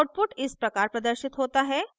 output इस प्रकार प्रदर्शित होता है